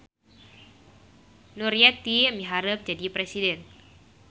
Nuryeti miharep jadi presiden